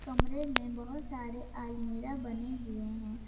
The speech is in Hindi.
कमरे में बहुत सारे आलमीरा बने हुए हैं।